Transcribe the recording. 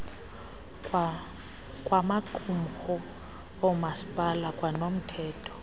wamaqumrhu oomasipala kwanomthetho